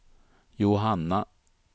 Johanna